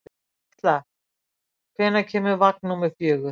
Katla, hvenær kemur vagn númer fjögur?